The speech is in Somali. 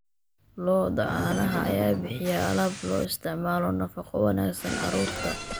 Lo'da caanaha ayaa bixiya alaab loo isticmaalo nafaqo wanaagsan carruurta.